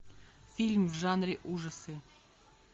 фильм в жанре ужасы